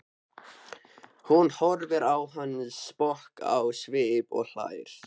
Hún horfir á hann sposk á svip og hlær.